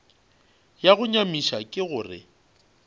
ya go nyamiša ke gore